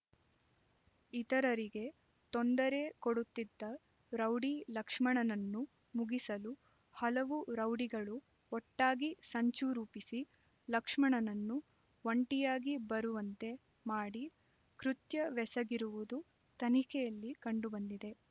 ಇತರರಿಗೆ ತೊಂದರೆ ಕೊಡುತ್ತಿದ್ದ ರೌಡಿ ಲಕ್ಷ್ಮಣನನ್ನು ಮುಗಿಸಲು ಹಲವು ರೌಡಿಗಳು ಒಟ್ಟಾಗಿ ಸಂಚು ರೂಪಿಸಿ ಲಕ್ಷ್ಮಣನನ್ನು ಒಂಟಿಯಾಗಿ ಬರುವಂತೆ ಮಾಡಿ ಕೃತ್ಯವೆಸಗಿರುವುದು ತನಿಖೆಯಲ್ಲಿ ಕಂಡುಬಂದಿದೆ